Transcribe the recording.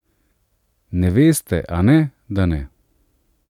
Ne veste, ane, da ne?